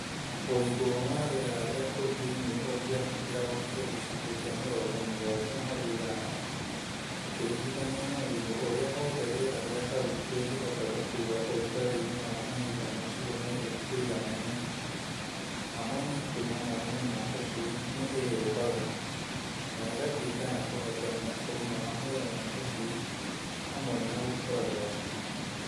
Uigũ wa rĩera rĩa kũu thĩinĩ ũngĩambatĩra ũkĩrie gĩcũnjĩ kĩa mĩrongo mũgwanja harĩ igana ũkĩringithanio na ũigũ ũrĩa wothe rĩera rĩa hau rĩngĩhota gũkua ũrugarĩ-ini wa mahinda macio merĩ ũiganaine, amonia kuma mai-inĩ ma tũcui nĩ ĩumbaga na ĩgatuĩka ya kũhotomia ũgima wa mwĩrĩ wa tũcui hamwe na gũkũra gwatuo.